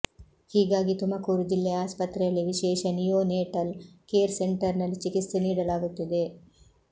ಹೀಗಾಗಿ ತುಮಕೂರು ಜಿಲ್ಲೆಯ ಆಸ್ಪತ್ರೆಯಲ್ಲಿ ವಿಶೇಷ ನಿಯೋನೇಟಲ್ ಕೇರ್ ಸೆಂಟರ್ ನಲ್ಲಿ ಚಿಕಿತ್ಸೆ ನೀಡಲಾಗುತ್ತಿದೆ